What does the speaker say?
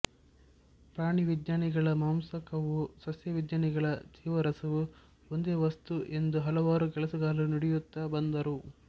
ಪ್ರಾಣಿವಿಜ್ಞಾನಿಗಳ ಮಾಂಸಕವೂ ಸಸ್ಯವಿಜ್ಞಾನಿಗಳ ಜೀವರಸವೂ ಒಂದೇ ವಸ್ತು ಎಂದು ಹಲವಾರು ಕೆಲಸಗಾರರು ತಿಳಿಯುತ್ತ ಬಂದರು